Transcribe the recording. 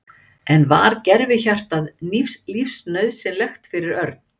En var gervihjartað lífsnauðsynlegt fyrir Örn?